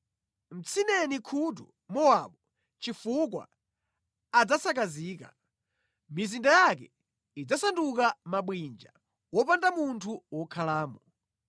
Mtsineni khutu Mowabu chifukwa adzasakazika; mizinda yake idzasanduka mabwinja, wopanda munthu wokhalamo.